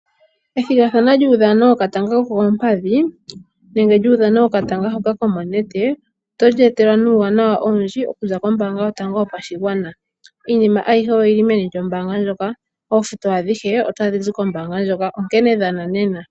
Ethigathano lyuudhano wokatanga kokoompadhi nenge lyuudhano wokatanga hoka komonete oto li etelwa nuuwanawa owundji okuza kombaanga yotango yopashigwana. Iinima ayihe oyili meni lyombaanga ndjoka. Oofuto adhihe otadhi zi kombaanga onkene dhana nena.